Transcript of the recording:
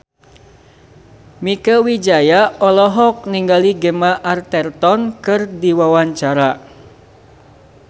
Mieke Wijaya olohok ningali Gemma Arterton keur diwawancara